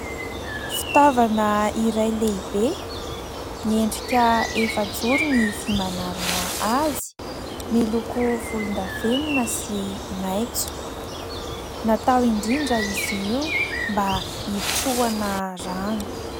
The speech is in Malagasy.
Fitaovana iray lehibe miendrika efa-joro ny vy manarona azy. Miloko volondavenina sy maitso. Natao indrindra izy io mba itrohana rano.